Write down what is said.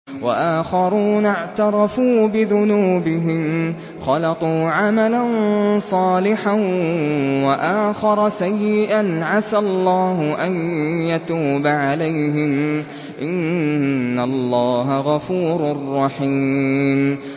وَآخَرُونَ اعْتَرَفُوا بِذُنُوبِهِمْ خَلَطُوا عَمَلًا صَالِحًا وَآخَرَ سَيِّئًا عَسَى اللَّهُ أَن يَتُوبَ عَلَيْهِمْ ۚ إِنَّ اللَّهَ غَفُورٌ رَّحِيمٌ